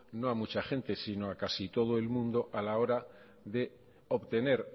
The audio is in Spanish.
no a mucha gente sino a casi todo el mundo a la hora de obtener